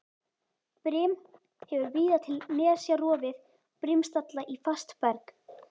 Brim hefur víða til nesja rofið brimstalla í fast berg.